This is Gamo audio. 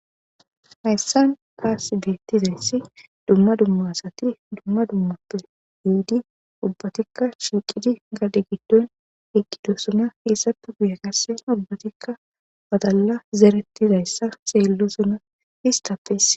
Haysam tasi betizaysi duma duma asati duma duma sope yidi ubbatika shiiqidi gade gidon eqidosona hesape guye qase ubbatika badala zeretidaysa xeelisona istappe issay